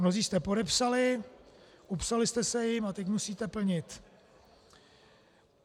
Mnozí jste podepsali, upsali jste se jim, a teď musíte plnit.